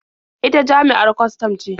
Ita jami'ar kwastam ce.